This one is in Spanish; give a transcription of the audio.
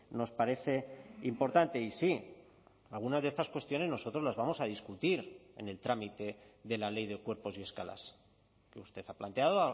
nos parece importante y sí algunas de estas cuestiones nosotros las vamos a discutir en el trámite de la ley de cuerpos y escalas que usted ha planteado